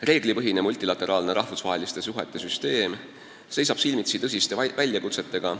Reeglipõhine multilateraalne rahvusvaheliste suhete süsteem seisab silmitsi tõsiste väljakutsetega.